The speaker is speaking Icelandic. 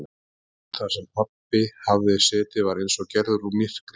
Stóllinn þar sem pabbi hafði setið var eins og gerður úr myrkri.